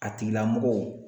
A tigilamɔgɔw